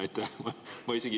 Aitäh!